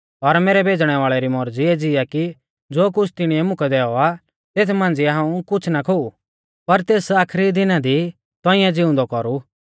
और मैरै भेज़णै वाल़ै री मौरज़ी एज़ी आ कि ज़ो कुछ़ तिणीऐ मुकै दैऔ आ तेथ मांझ़िया हाऊं कुछ़ ना खोऊ पर तेस आखरी दिना दी तौंइऐ ज़िउंदौ कौरु